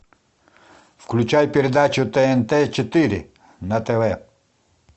включай передачу тнт четыре на тв